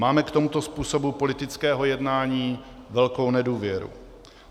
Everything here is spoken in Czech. Máme k tomuto způsobu politického jednání velkou nedůvěru.